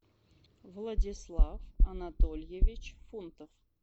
владислав анатольевич фунтов